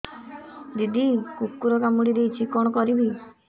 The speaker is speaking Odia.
ଦିଦି କୁକୁର କାମୁଡି ଦେଇଛି କଣ କରିବି